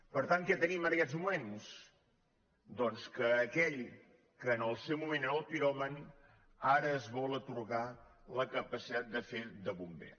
per tant què tenim en aquests moments doncs que aquell que en el seu moment era el piròman ara es vol atorgar la capacitat de fer de bomber